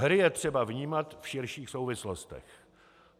Hry je třeba vnímat v širších souvislostech.